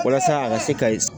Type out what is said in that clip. Walasa a ka se ka ye